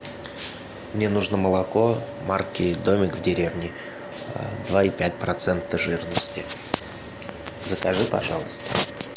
мне нужно молоко марки домик в деревне два и пять процента жирности закажи пожалуйста